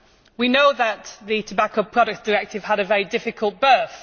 We know that the Tobacco Products Directive had a very difficult birth.